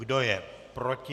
Kdo je proti?